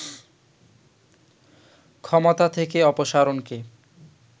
ক্ষমতা থেকে অপসারণকে